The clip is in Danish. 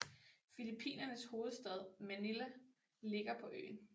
Filippinernes hovedstad Manila ligger på øen